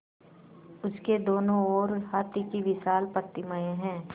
उसके दोनों ओर हाथी की विशाल प्रतिमाएँ हैं